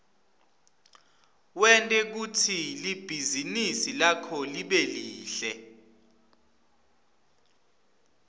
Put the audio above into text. wente kutsi libhizinisi lakho libe lihle